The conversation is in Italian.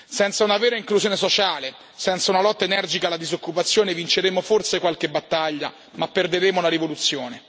Senza una vera inclusione sociale, senza una lotta energica alla disoccupazione, vinceremo forse qualche battaglia ma perderemo la rivoluzione.